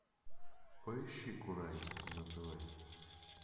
поищи курай на тв